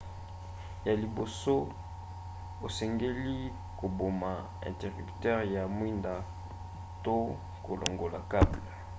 ya liboso osengeli koboma interrupteur ya mwinda to kolongola cable